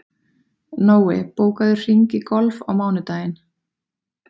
Nói, bókaðu hring í golf á mánudaginn.